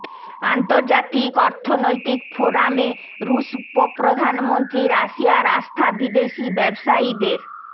আন্তর্জাতিক অর্থনৈতিক ফোরামে রুশ উপপ্রধানমন্ত্রী রাশিয়ায় আস্থা বিদেশি ব্যবসায়ীদের